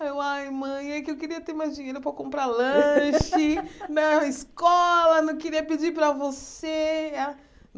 Ai, mãe, é que eu queria ter mais dinheiro para comprar lanche na escola, não queria pedir para você.